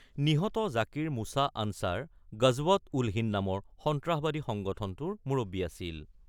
নিহত জাকিৰ মুশ্বা আনচাৰ গজৱৎ-উল-হিন্দ নামৰ সন্ত্ৰাসবাদী সংগঠনটোৰ মুৰব্বী আছিল।